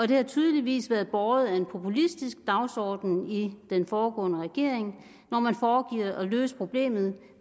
det har tydeligvis været båret af en populistisk dagsorden i den foregående regering hvor man foregav at løse problemet